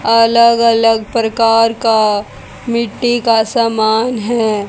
अलग अलग प्रकार का मिट्टी का समान है।